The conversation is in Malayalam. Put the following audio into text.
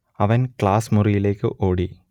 അവൻ ക്ലാസ് മുറിയിലേക്ക് ഓടി